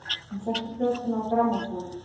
Hún setti plötuna á grammófóninn.